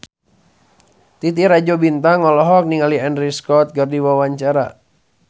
Titi Rajo Bintang olohok ningali Andrew Scott keur diwawancara